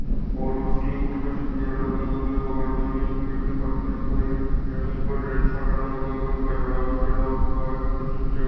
और उसके ऊपर कुछ पेड़ लगे हुए है बगल में भी एक पेड़ की पट्टी दिखाई दे रही जमीन पर रेत सा डला हुआ है और कुछ कचरा भी डला हुआ है कुछ ईंटे --